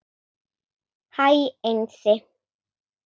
Hæ Einsi